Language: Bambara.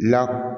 La